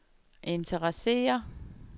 interesserer